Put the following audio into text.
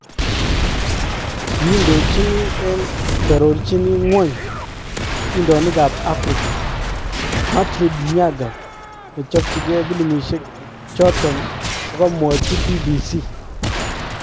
Kiindochini en kearorchini ngwony atindoniikab Afrika,"Matrid Nyaga, nechopee pilimisyeek choton kokamwachii BBC.